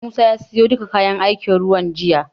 Musa ya siyo duka kayan aikin ruwan jiya.